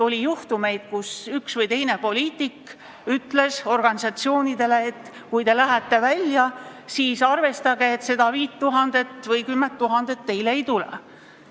Oli juhtumeid, kus üks või teine poliitik ütles organisatsioonidele, et kui te lähete välja, siis arvestage, et seda 5000 või 10 000 eurot teile ei tule.